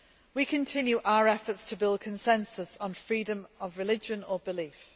We continue our efforts to build consensus on freedom of religion or belief.